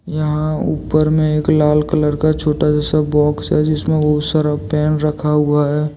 यहाँ उपर में एक लाल कलर का छोटा जैसा बॉक्स है जिसमें बहुत सारा पेन रखा हुआ है।